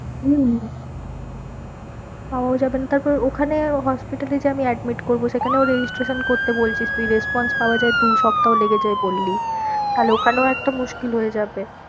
হম পাওয়াও যাবে না তারপর ওখানে hospital এ যে আমি admit করবো সেখানেও registration করতে বলছিস তুই response পাওয়া যায় দু সপ্তাহ লেগে যায় বললি তাহলে ওখানেও একটা মুশকিল হয়ে যাবে।